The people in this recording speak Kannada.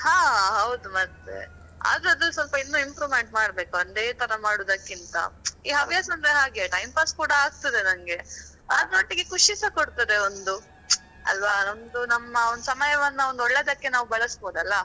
ಹಾ ಹೌದು, ಮತ್ತೆ ಆದ್ರೆ ಅದು ಸ್ವಲ್ಪ ಇನ್ನೂ improvement ಮಾಡ್ಬೇಕು ಒಂದೇ ತರಾ ಮಾಡುದಕ್ಕಿಂತ. ಈ ಹವ್ಯಾಸ ಒಂದು ಹಾಗೆ time pass ಕುಡಾ ಆಗ್ತದೆ ನನ್ಗೆ. ಅದ್ರೊಟ್ಟಿಗೆ ಖುಷಿಸಾ ಕೊಡ್ತದೆ ಒಂದು, ಅಲ್ವಾ ನಮ್ದು ನಮ್ಮ ಒಂದು ಸಮಯವನ್ನು ಒಂದು ಒಳ್ಳೇದಕ್ಕೆ ನಾವು ಬಳಸ್ಬೋದಲ್ಲ.